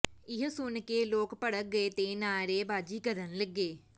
ਇਹ ਸੁਣ ਕੇ ਲੋਕ ਭੜਕ ਗਏ ਤੇ ਨਾਅਰੇਬਾਜ਼ੀ ਕਰਨ ਲੱਗੇ